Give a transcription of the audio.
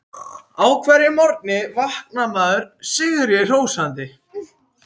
Á hverjum morgni vaknar maður sigri hrósandi.